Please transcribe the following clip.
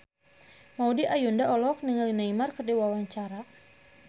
Maudy Ayunda olohok ningali Neymar keur diwawancara